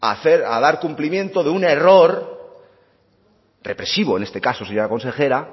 a dar cumplimiento de un error represivo en este caso señora consejera